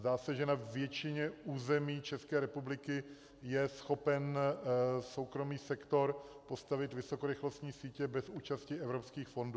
Zdá se, že na většině území České republiky je schopen soukromý sektor postavit vysokorychlostní sítě bez účasti evropských fondů.